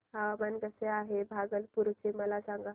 हवामान कसे आहे भागलपुर चे मला सांगा